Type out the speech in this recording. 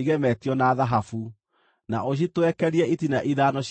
igemetio na thahabu. Na ũcitwekerie itina ithano cia gĩcango.